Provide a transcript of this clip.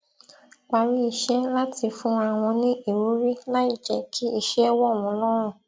parí iṣé láti fúnra wọn ní ìwúrí láì jẹ kí iṣẹ wọ wọn lọrùn